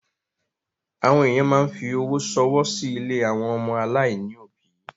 Àwọn èyàn máa ń fi owó ṣọwọ́ sí ilé àwọn ọmọ aláìní òbí.